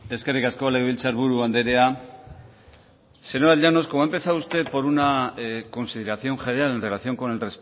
eskerrik asko legebiltzarburu andrea señora llanos como ha empezado usted por una consideración general en relación con el